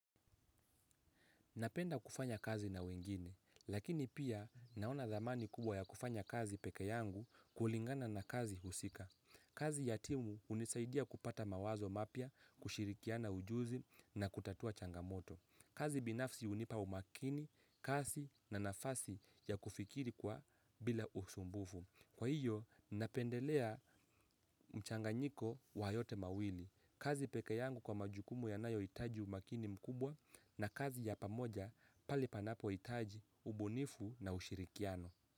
Napenda kufanya kazi na wengine, lakini pia naona thamani kubwa ya kufanya kazi peke yangu kulingana na kazi husika. Kazi ya timu hunisaidia kupata mawazo mapya, kushirikiana ujuzi na kutatua changamoto. Kazi binafsi unipa umakini, kazi na nafasi ya kufikiri kwa bila usumbufu. Kwa hiyo, napendelea mchanganyiko wa yote mawili. Kazi peke yangu kwa majukumu yanayohitaji umakini mkubwa na kazi ya pamoja pale panapohitaji, ubunifu na ushirikiano.